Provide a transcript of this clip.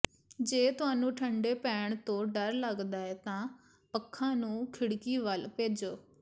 ਜੇ ਤੁਹਾਨੂੰ ਠੰਢੇ ਪੈਣ ਤੋਂ ਡਰ ਲੱਗਦਾ ਹੈ ਤਾਂ ਪੱਖਾ ਨੂੰ ਖਿੜਕੀ ਵੱਲ ਭੇਜੋ